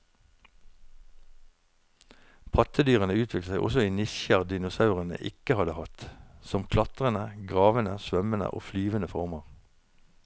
Pattedyrene utviklet seg også i nisjer dinosaurene ikke hadde hatt, som klatrende, gravende, svømmende og flyvende former.